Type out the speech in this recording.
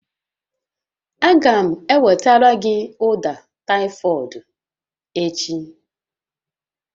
Aga m ewetara gị ụda ụfọdụ echi